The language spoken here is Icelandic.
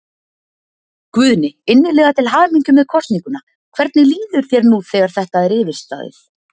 Guðni, innilega til hamingju með kosninguna, hvernig líður þér nú þegar þetta er yfirstaðið?